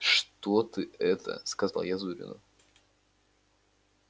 что ты это сказал я зурину